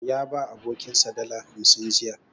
Ya ba abokinsa dala hamsin jiya.